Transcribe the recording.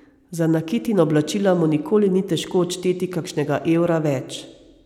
Za nakit in oblačila mu nikoli ni težko odšteti kakšnega evra več.